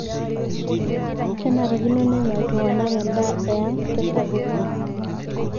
kenerikino nenya iltunganak endaa e ang tesapuko